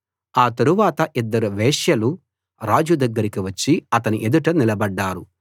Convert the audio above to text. ఆ తరవాత ఇద్దరు వేశ్యలు రాజు దగ్గరకి వచ్చి అతని ఎదుట నిలబడ్డారు